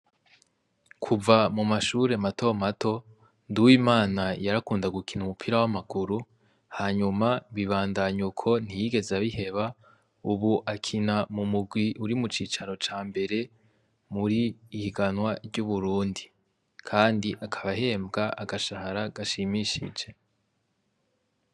Kuva mu mashure mato mato Nduwimana yarakunda gukina umupira w'amaguru hanyuma bibandanya uko ntiyigeze abiheba, ubu akina mu mugwi uri mucicaro cambere muri higanwa ry'Uburundi, kandi akaba ahembwa agashahara gashimishije .